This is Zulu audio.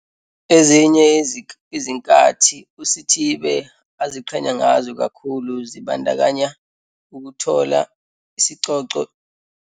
Ezinye izinkathi uSithibe aziqhenya ngazo kakhulu zibandakanya ukuthola isicoco emncintiswaneni wonobuhle abanebala elimhlophe i-Miss Free State Albinism 2018 nokukhethwa njengomunye wabadle umhlanganiso embukisweni wemfashini i-Face of Free State Fashion Week 2018.